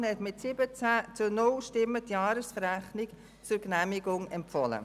Die SiK hat mit 17 zu 0 Stimmen die Jahresrechnung zur Genehmigung empfohlen.